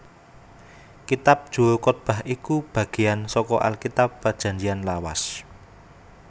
Kitab Juru Kotbah iku bagéyan saka Alkitab Prajanjian Lawas